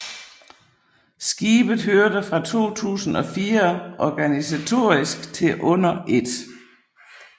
Skibet hørte fra 2004 organisatorisk til under 1